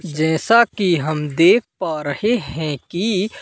जैसा कि हम देख पा रहे हैं की--